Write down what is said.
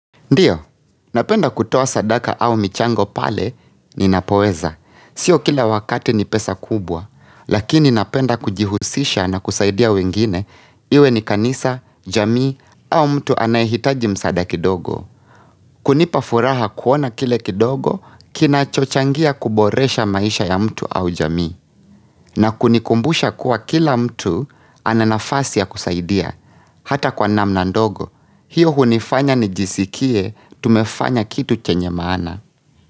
Ndiyo, napenda kutoa sadaka au michango pale ninapoweza. Sio kila wakati ni pesa kubwa, lakini napenda kujihusisha na kusaidia wengine iwe ni kanisa, jamii au mtu anayehitaji msaada kidogo. Kunipa furaha kuona kile kidogo, kinacho changia kuboresha maisha ya mtu au jamii. Na kunikumbusha kuwa kila mtu ana nafasi ya kusaidia, hata kwa namna ndogo. Hiyo hunifanya nijisikie, tumefanya kitu chenye maana.